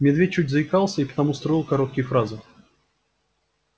медведь чуть заикался и потому строил короткие фразы